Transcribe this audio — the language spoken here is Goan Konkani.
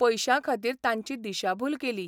पयशांखातीर तांची दिशाभूल केली.